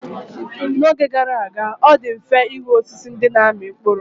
N'oge gara aga, ọ dị mfe ịhụ osisi ndị na-amị mkpụrụ.